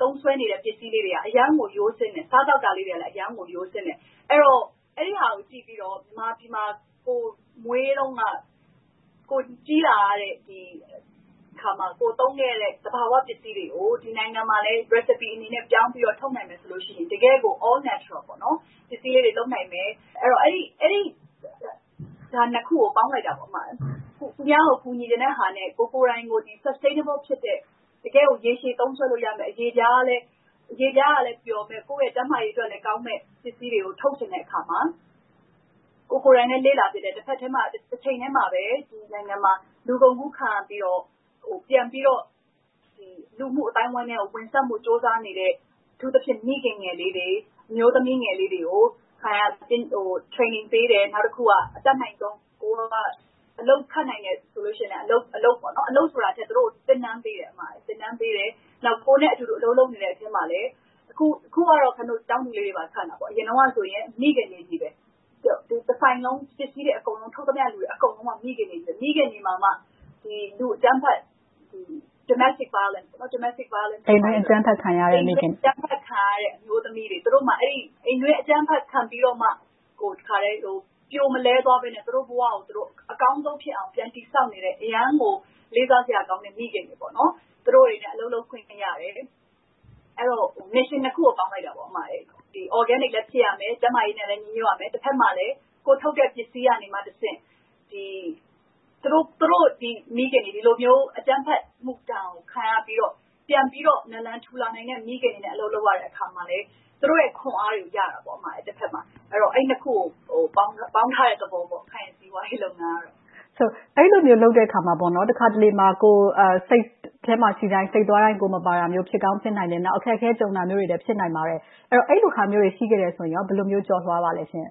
သုံးစွဲနေတဲ့ ပစ္စည်းလေးတွေက အရမ်းကို ရိုးစင်းတယ်။ စားသောက်တာတွေကလည်း အရမ်းကိုရိုးစင်းတယ်။ အဲဒီဟာတွေကို ကြည့်ပြီးတော့ မြန်မာပြည်မှာ ကိုယ်မွေးတုန်းက ကိုယ်ကြီးလာတဲ့အခါမှာ ကိုယ်သုံးခဲ့တဲ့ သဘာဝပစ္စည်းတွေကို ဒီနိုင်ငံမှာလဲ Recipe အနေနဲ့ ပြောင်းပြီးတော့ ထုတ်နိုင်မယ်ဆိုရင် တကယ့်ကို All Natural ပစ္စည်းလေးတွေ လုပ်နိုင်မယ်။ အဲဒီဟာနှစ်ခုကို ပေါင်းလိုက်ပြီး - သူများကို ကူညီချင်တဲ့ဟာနဲ့ ကိုယ်ကိုယ်တိုင်ကို Sustainable ဖြစ်တဲ့ တကယ့်ကို ရေရှည်သုံးစွဲလို့ရမယ့် အရေပြားလည်း ပျော်မယ်၊ ကိုယ့်ရဲ့ကျန်းမာရေးလည်းကောင်းမယ့် ပစ္စည်းတွေကို ထုတ်ချင်တဲ့အခါမှာ ကိုယ်ကိုယ်တိုင်လည်း လေ့လာဖြစ်တယ်။ တချိန်တည်းမှာပဲ ဒီနိုင်ငံမှာ လူကုန်ကူးခံရပြီးတော့ ပြန်ပြီးတော့ လူမှုအသိုင်းအဝိုင်းအတွင်းကို ဝင်ဆန့်ဖို့ ကြိုးစားနေတဲ့ အထူးသဖြင့် မိခင်ငယ်လေးတွေ၊ အမျိုးသမီးငယ်လေးတွေကို ခိုင်က Training ပေးတယ်။ နောက်တခုက အတတ်နိုင်ဆုံး အလုပ်ခန့်နိုင်တယ်ဆိုရင်လဲ အလုပ်ပေးတယ်။ အလုပ်ဆိုတာထက် သူတို့ကို သင်တန်းပေးတယ်။ နောက် ကိုယ်နဲ့အတူတူ အလုပ်လုပ်နေတဲ့ အခုကတော့ ကျောင်းသူလေးတွေပါ ခန့်ပါတယ်။ အရင်တုန်းကတော့ မိခင်တွေကြီးပဲ။ တဆိုင်လုံး၊ ပစ္စည်းတွေအကုန်လုံး ထုတ်သမျှ လုပ်နေသူတွေက မိခင်တွေကြီးပဲ။ မိခင်တွေမှာမှ အိမ်တွင်းအကြမ်းဖက်ခံရတဲ့ Domestic violence အမျိုးသမီးတွေ။ သူတို့မှာ အိမ်တွင်းအကြမ်းဖက်ခံရပြီးမှ ပြိုမလဲသွားဘဲနဲ့ သူတို့ဘဝကိုသူတို့ အကောင်းဆုံးဖြစ်အောင် ပြန်တည်ဆောက်နေတဲ့၊ အရမ်းကိုလေးစားစရာကောင်းတဲ့ မိခင်တွေနဲ့ အလုပ်လုပ်ခွင့်ရတယ်။ အဲဒီတော့ Missions နှစ်ခုကို ပေါင်းလိုက်တာပေါ့။ Organic လည်း ဖြစ်ရမယ်၊ ကျန်းမာရေးနဲ့လည်း ညီညွှတ်ရမယ်။ တဘက်မှာလဲ ကိုယ်ထုတ်တဲ့ပစ္စည်းကနေတဆင့် မိခင်တွေ ဒီလိုမျိုး အကြမ်းဖက်မှုဒဏ်ကို ခံရပြီးတော့ ပြန်ပြီးတော့ နလန်ထူနိုင်တဲ့ မိခင်တွေနဲ့ အလုပ်လုပ်ရတယ် - သူတို့ရဲ့ခွန်အားတွေကို ရတာပေါ့။ အဲဒီနှစ်ခုကို ပေါင်းထားတဲ့သဘောပေါ့။ ခိုင့်စီးပွားရေး လုပ်ငန်းက။ အဲဒီလိုမျိုး လုပ်တဲ့အခါမှာ တခါတလေမှာ ကိုယ်က စိတ်ထဲမှာရှိတဲ့အတိုင်း၊ စိတ်သွားတိုင်း ကိုယ်မပါတာမျိုး ဖြစ်ကောင်းဖြစ်နိုင်တယ်။ နောက် အခက်အခဲ ကြုံတာမျိုးတွေရှိတာလဲ ဖြစ်နိုင်ပါတယ်။ အဲဒီလိုအခါမျိုးတွေ ရှိခဲ့ရင် ဘယ်လိုမျိုး ကျော်လွှာပါလဲရှင့်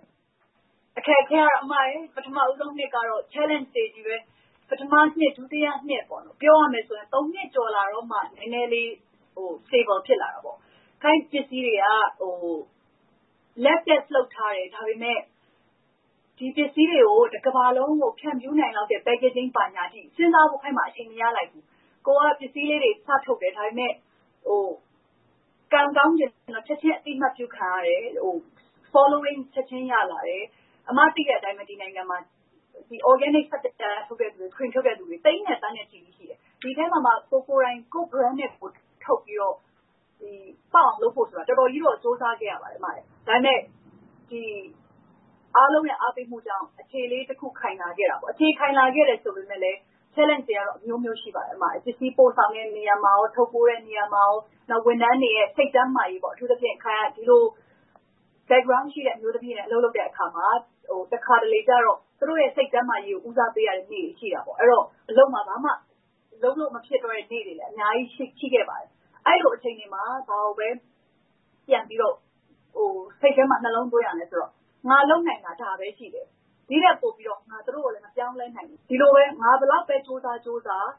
။ အခက်အခဲကတော့ ပထမဦးဆုံးနှစ်ကတော့ Challenges တွေကြီးပါပဲ။ ပထမနှစ်၊ ဒုတိယနှစ် ပြောရမယ်ဆိုရင် နှစ်ကျော်လာတော့မှ နည်းနည်းလေး နေသာကျ Stable ဖြစ်လာတာပေါ့။ ခိုင့်ပစ္စည်းတွေက Lab Test လုပ်ထားတယ်။ ဒါပေမဲ့ ဒီပစ္စည်းတွေကို တကမ္ဘာလုံးကို ဖြန့်ဖြူးနိုင်လောက်တဲ့ Packaging ဘာညာစဉ်းစားဖို့ အချိန်မရလိုက်ဘူး။ ကိုယ်က ပစ္စည်းလေးတွေ စထုတ်တယ်။ ကံကောင်းချင်တော့ ချက်ချင်းအသိအမှတ်ပြုခံရတယ်။..ချက်ချင်းရလာတယ်။ အမ သိတဲ့အတိုင်းပဲ ဒီနိုင်ငံမှာ Organic ဆပ်ပြာထုတ်တဲ့လူတွေ သိန်းနဲ့သန်းနဲ့ချီပြီး ရှိတယ်။ ဒီအထဲမှာမှ ကိုယ်ကိုယ်တိုင် ကိုယ့် Brand နဲ့ ကိုယ် ထုတ်ပြီးတော့ ပေါက်အောင်လုပ်ဖို့ဆိုတာ တော်တော်ကြီး ကြိုးစားခဲ့ရပါတယ်။ ဒါပေမဲ့ အားလုံးရဲ့ အားပေးမှုကြောင့် အခြေလေးတခု ခိုင်လာခဲ့တာပေါ့။ အခြေခိုင်လာခဲ့တယ် ဆိုပေမယ့်လဲ Challenges တွေကတော့ အမျိုးမျိုး ရှိပါတယ်။ ပစ္စည်းပို့ဆောင်တဲ့ နေရာမှာ။ ထုတ်ပိုးတဲ့နေရာမှာ။ နောက် ဝန်ထမ်းတွေရဲ့ စိတ်ကျန်းမာရေး၊ အထူးသဖြင့် ခိုင်က ဒီလို Background ရှိတဲ့ အမျိုးသမီးတွေနဲ့ အလုပ်လုပ်တဲ့အခါမှာ တခါတလေကြတော့ သူတို့ရဲ့ စိတ်ကျန်းမာရေးကို ဦးစားပေးရတဲ့နေ့တွေ ရှိတာပေါ့။ အဲဒီတော့ အလုပ်မှာ ဘာမှလုပ်လို့မဖြစ်တော့တဲ့နေ့တွေလည်း အများကြီး ရှိခဲ့ပါတယ်။ အဲဒီလို အခြေအနေမှာ ဘာကိုပဲ ပြန်ပြီးတော့ စိတ်ထဲမှာ နှလုံးသွင်းရသလဲဆိုတော့ ငါ လုပ်နိုင်တာ ဒါပဲရှိတယ်။ ဒီထက်ပိုပြီးတော့လဲ ငါ သူတို့ကို မပြောင်းလဲနိုင်ဘူး။ ဒီလိုပဲ ငါ ဘယ်လောက်ပဲ ကြိုးစားကြိုးစား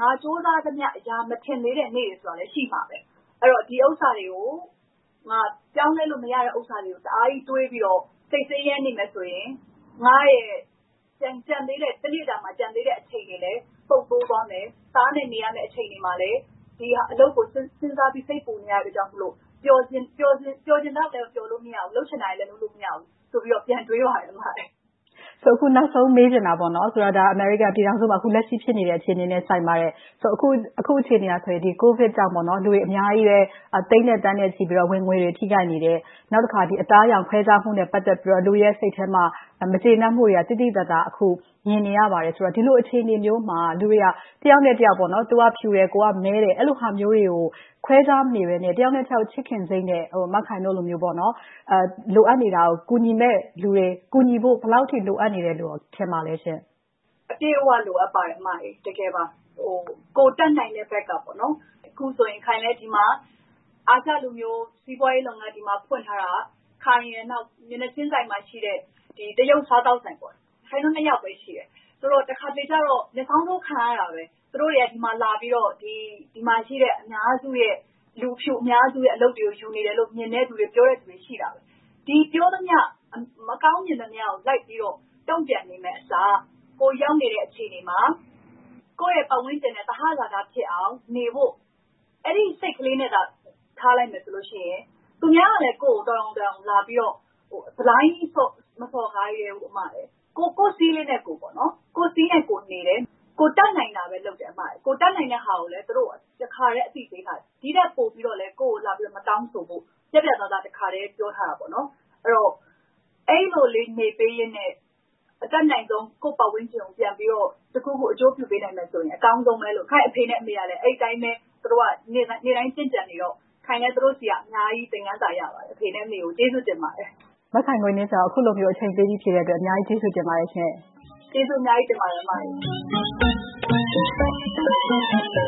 ငါ ကြိုးစားသမျှ အရာမထင်သေးတဲ့ နေ့တွေဆိုတာလဲ ရှိမှာပဲ။ အဲဒီတော့ ဒီဥစ္စာတွေကို ငါ ပြောင်းလဲလို့ မရတဲ့ဥစ္စာတွေကို တအားကြီးတွေးပြီးတော့ စိတ်ဆင်းရဲနေမယ်ဆိုရင် ငါ့ရဲ့ ကျန်သေးတဲ့ တစ်နေ့တာအချိန်တွေလဲ ပုပ်သိုးသွားမယ်၊ သားနဲ့နေရမယ့် အချိန်တွေလည်း ဒီအလုပ်ကို စဉ်းစားပြီး၊ စိတ်ပူနေတာတွေကြောင့်မို့ ပျော်ချင်သလောက်လဲ ပျော်လို့မရဘူး၊ လုပ်ချင်တာတွေလည်း လုပ်လို့မရဘူးဆိုပြီးတော့ ပြန်တွေးပါတယ်။ အခုနောက်ဆုံး မေးချင်တာက အမေရိကန်ပြည်ထောင်စုမှာ အခုလက်ရှိဖြစ်နေတဲ့ အခြေအနေနဲ့ ဆိုင်ပါတယ်။ အခုအခြေအနေက ကိုဗစ်ကြောင့် လူတွေအများကြီးလည်း သိန်းနဲ့သန်းနဲ့ချီပြီးတော့ ဝင်ငွေတွေ ထိခိုက်နေတယ်။ နောက်တခါ အသားအရောင်ခွဲခြားမှုနဲ့ ပတ်သက်ပြီးတော့ လူတွေရဲ့ စိတ်ထဲမှာ မကျေနပ်မှုတွေ သိသိသာသာ အခုမြင်နေရတယ်ဆိုတော့ ဒီလိုအခြေအနေမျိုးမှာ လူတွေက တယောက်နဲ့တယောက် သူကဖြူတယ်၊ ကိုယ်ကမည်းတယ် အဲဒီလိုဟာမျိုးတွေကို ခွဲခြားမနေဘဲနဲ့ တယောက်နဲ့တယောက် ချစ်ခင်စိတ်နဲ့ မခိုင်တို့လိုမျိုး လိုအပ်နေတာကို ကူညီပေးမယ့်လူတွေ ဘယ်လောက်အထိ လိုအပ်နေတယ်လို့ ထင်ပါသလဲရှင့်။ အပြည့်အဝ လိုအပ်ပါတယ်။ တကယ်ပါ ကိုယ်တတ်နိုင်တဲ့ဘက်က။ အခုဆိုရင် ခိုင်လည်း ဒီမှာ အာရှလူမျိုး စီးပွားရေးလုပ်ငန်း ဒီမှာဖွင့်ထားတာ ခိုင်ရယ်၊ မျက်နှာချင်းဆိုင်မှာရှိတဲ့ တရုတ်စားသောက်ဆိုင် ခိုင်တို့ နှစ်ယောက်ပဲ ရှိတယ်။ ဆိုတော့ တခါတလေကျတော့ မျက်စောင်းထိုး ခံရတာပဲ။ သူတို့တွေက ဒီမှာလာပြီးတော့ ဒီမှာရှိတဲ့ အများစုရဲ့ လူဖြူအများစုရဲ့ အလုပ်တွေကို ယူနေတယ်လို့ မြင်တဲ့လူတွေ ရှိတယ်။ ဒီပြောသမျှ မကောင်းမြင်သမျှကို လိုက်ပြီးတော့ တုံ့ပြန်နေမယ့်အစား ကိုယ်ရောက်နေတဲ့ အခြေအနေမှာ ကိုယ့်ရဲ့ ပတ်ဝန်းကျင်နဲ့ သဟဇာတဖြစ်အောင် နေဖို့ အဲဒီစိတ်ကလေးနဲ့သာ ထားလိုက်မယ်ဆိုလို့ရှိရင် သူများကလည်း ကိုယ့်ကိုယ် တော်ရုံတန်ရုံ လာပြီးတော့ ဘလိုင်းကြီး မစော်ကားရဲဘူး။ ကိုယ့်စည်းလေးနဲ့ကိုယ် နေတယ်။ ကိုယ်တတ်နိုင်တာပဲ လုပ်တယ်။ ကိုယ်တတ်နိုင်တဲ့ဟာကိုလည်း တခါတည်း အသိပေးပါတယ်။ ဒီထက်ပိုပြီးတာ့လဲ ကိုယ့်ကိုယ် လာပြီးတော့ မတောင်းဆိုဖို့ ပြတ်ပြတ်သားသား တခါတည်း ပြောထားတာပေါ့။ အဲဒီလိုလေး နေပေးရင်းနဲ့ အတတ်နိုင်ဆုံး ကိုယ့်ပတ်ဝန်းကျင်ကို ပြန်ပြီးတော့ တခုခု အကျိုးပြုပေးနိုင်မယ်ဆိုရင် အကောင်းဆုံးပဲလို့ ခိုင့်အဖေနဲ့အမေကလည်း အဲဒီအတိုင်းပဲ သူတို့က နေ့တိုင်းကျင့်ကြံနေတော့ ခိုင်လည်း သူတို့ဆီက အများကြီး သင်ခန်းစာ ရပါတယ်။ အဖေနဲ့အမေကို ကျေးဇူးတင်ပါတယ်။ မခိုင်ဝေနှင်းဇော် အခုလို အချိန်ပေးပြီး ဖြေကြားပေးတဲ့အတွက် အများကြီး ကျေးဇူးတင်ပါတယ်ရှင့်။ ကျေးဇူးအများကြီး တင်ပါတယ် အမ။